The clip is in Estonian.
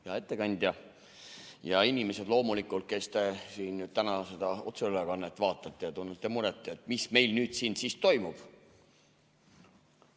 Hea ettekandja ja loomulikult inimesed, kes te täna seda otseülekannet vaatate ja tunnete muret, mis meil siin toimub!